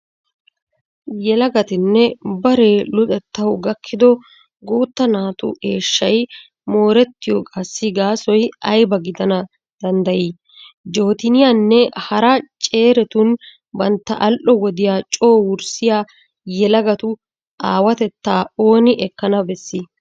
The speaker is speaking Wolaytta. Yelagatinne baree luxettawu gakkido guutta naatu eeshshay moorettiyogaassi gaasoy ayba gidana danddayii? Jooteniyaninne hara ceeretun bantta al"o wodiya coo wurssiya yelagatu aawatettaa ooni ekkana bessii?